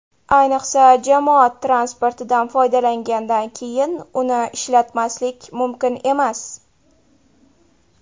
Ayniqsa, jamoat transportidan foydalangandan keyin uni ishlatmaslik mumkin emas.